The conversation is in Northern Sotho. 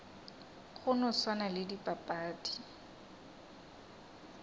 go no swana le dipapadi